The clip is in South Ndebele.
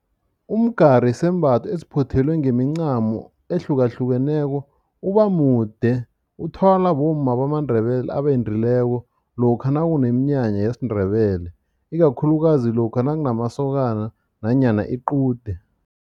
Umgari yisembatho esiphothelwe ngemincamo ehlukahlukeneko. Ubamude, uthwalwa bomma bamaNdebele abendileko lokha nakuneminyanya yesiNdebele, ikakhulukazi lokha nakunamasokana nanyana iqude.